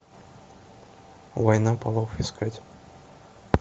война полов искать